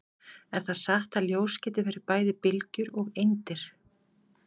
Er það satt að ljós geti verið bæði bylgjur og eindir?